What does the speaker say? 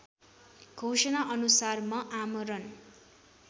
घोषणाअनुसार म आमरण